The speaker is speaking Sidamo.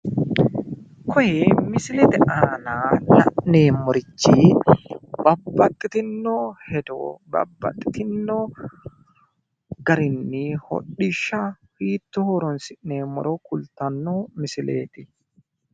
kuni misilete aana la'neemmorichi babbaxxitinno hedo babbaxxitinno garinni hodhishsha hittoo horonsi'neemmoro kultanno misileeti.